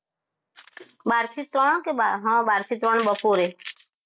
બહારથી ત્રણ કે હા બાર થી ત્રણ બપોરે